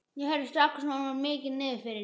Ég heyri strax að honum er mikið niðri fyrir.